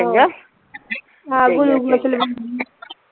glucose ਲਵਾਨੀ ਆ